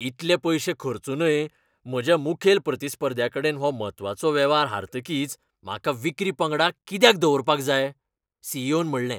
इतले पयशे खर्चूनय म्हज्या मुखेल प्रतिस्पर्ध्याकडेन हो म्हत्वाचो वेव्हार हारतकीच म्हाका विक्री पंगडाक कित्याक दवरपाक जाय?, सी. ई. ओ. न म्हणलें.